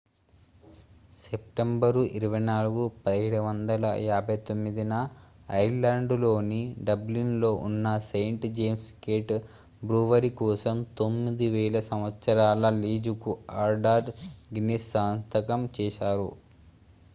September 24 1759 న Ireland లోని Dublin లో ఉన్న సెయింట్ జేమ్స్ గేట్ బ్రూవరీ కోసం 9,000 సంవత్సరాల లీజుకు ఆర్థర్ గిన్నిస్ సంతకం చేశారు